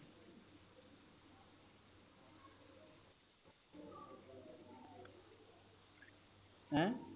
ਹੈਂ